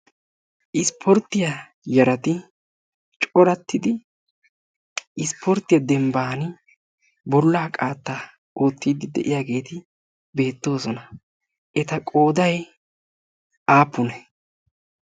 Ispportiya yarati corattidi isporte dembban bolla qaatta ootide de'iyaageeti beettooosona. eta qooday aappune?